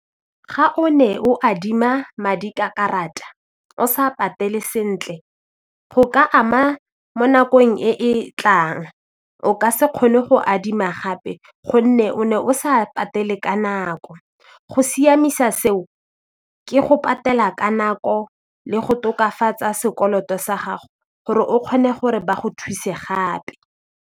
Ga o ne o adima madi ka karata o sa patele sentle go ka ama mo nakong e e tlang o ka se kgone go adima gape gonne o ne o sa patele ka nako go siamisa seo ke go patela ka nako le go tokafatsa sekoloto sa gago gore o kgone gore ba go thuse gape.